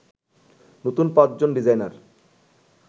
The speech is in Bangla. নতুন ৫ জন ডিজাইনার